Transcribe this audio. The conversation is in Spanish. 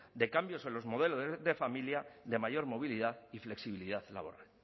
de cambios en los modelos de familia de mayor movilidad y flexibilidad laboral